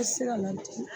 I tɛ se ka ladili